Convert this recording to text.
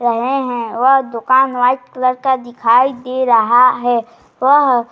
रहे हैं वह दुकान वाइट कलर का दिखाई दे रहा है। वह --